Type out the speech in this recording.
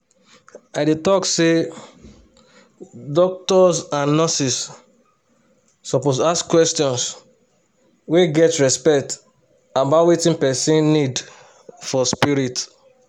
i dey talk say doctors and and nurses suppose ask question wey get respect about wetin person need for spirit.